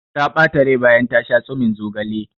Ta ɓata rai bayan ta sha tsumin zogalen.